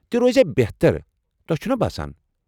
تہِ روزِہے بہتر، تۄہہِ چھٗنا باسان؟